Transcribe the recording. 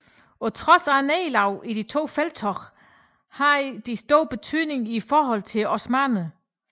På trods af nederlagene i de to felttog havde de stor betydning i forholdet til osmannerne